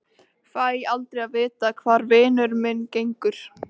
Fæ aldrei að vita hvar vinur minn gengur.